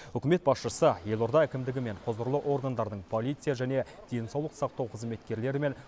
үкімет басшысы елорда әкімдігі мен құзырлы органдардың полиция және денсаулық сақтау қызметкерлері мен